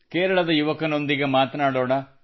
ಕೇರಳದ ಯುವಕನೊಂದಿಗೆ ಮಾತನಾಡೋಣ